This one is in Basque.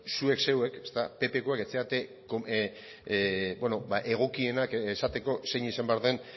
zuek zeuek ppkoek ez zarete egokienak esateko zein izan behar den